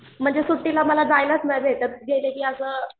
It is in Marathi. म्हणजे सुट्टीला मला जायलाच नाही भेटत गेलं की असं